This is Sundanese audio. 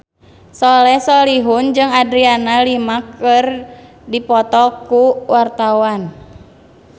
Soleh Solihun jeung Adriana Lima keur dipoto ku wartawan